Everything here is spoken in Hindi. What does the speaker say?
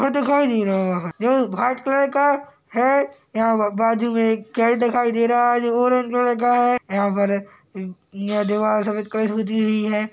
ओ दिखाई दे रा है जो भाइट कलर का है। यहाँ पर बाजु में एक कैड दिखाई दे रहा है जो ऑरेंज कलड़ का है। यहाँ पर अ दीवाल सफ़ेद कलर से पुती हुई है।